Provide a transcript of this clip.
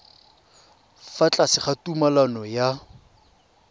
fa tlase ga tumalano ya